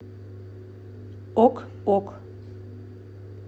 ок ок